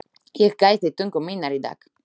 Ég gæti tungu minnar í dag.